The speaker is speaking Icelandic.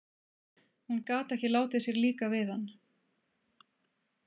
Hún gat ekki látið sér líka við hann.